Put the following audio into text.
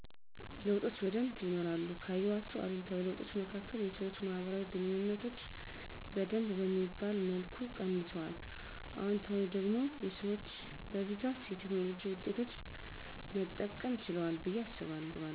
ለዉጦች በደንብ ይኖራሉ ካየዋቸዉ አሉታዊ ለዉጦች መካከል የሰወች ማህበራዊ ግንኙነቶች በደንብ በሚባል መልኩ ቀንሱአል። አዎንታዊ ደግሞ ሰወች በብዛት የቴክኖሎጅ ዉጤቶች መጠቀም ችለዋል በየ አሰባለዉ።